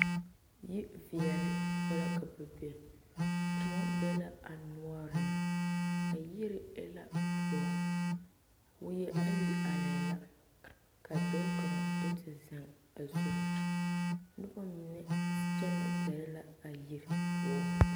Yi veɛle poɔ la ka ba be Kóɔ ne a noɔreŋ ba yiri be la toɔ wie ayi arɛɛ la ka dɔɔ kaŋ do te zeŋ a zunnoba mine kyɛnɛ gɛrɛ la a yiri poɔ